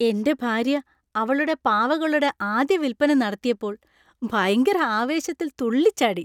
എന്‍റെ ഭാര്യ അവളുടെ പാവകളുടെ ആദ്യ വിൽപ്പന നടത്തിയപ്പോൾ ഭയങ്കര ആവേശത്തിൽ തുള്ളിച്ചാടി.